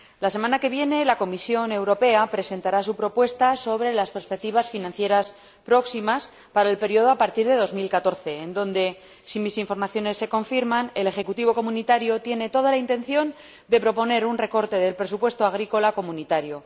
La semana que viene, la Comisión Europea presentará su propuesta sobre las próximas perspectivas financieras para el período posterior a 2014, en la que, si mis informaciones se confirman, el ejecutivo comunitario tiene toda la intención de proponer un recorte del presupuesto agrícola comunitario.